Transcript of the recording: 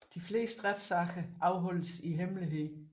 Det fleste retssager afholdes i hemmelighed